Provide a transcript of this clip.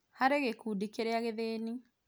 Harĩ gĩkundi kĩrĩa gĩthĩni